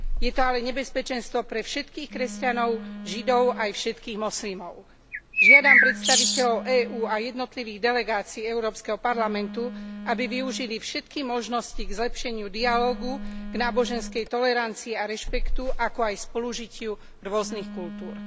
Je to ale nebezpečenstvo pre všetkých kresťanov, židov aj všetkých moslimov. Žiadam predstaviteľov EÚ a jednotlivých delegácií Európskeho parlamentu, aby využili všetky možnosti k zlepšeniu dialógu, k náboženskej tolerancii a rešpektu, ako aj spolužitiu rôznych kultúr.